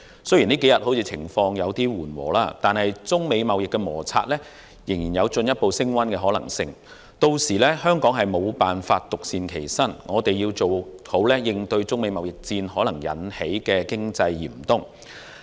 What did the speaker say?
雖然相關情況這數天稍為緩和，惟中美貿易摩擦仍有可能進一步升溫，香港屆時定必無法獨善其身，必須做好準備應對中美貿易戰可能引致的經濟嚴冬。